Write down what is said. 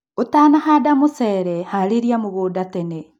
Ũtanahanda mũcere, harĩlia mũgũnda tene